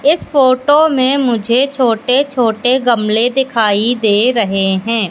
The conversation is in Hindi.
इस फोटो में मुझे छोटे छोटे गमले दिखाई दे रहे हैं।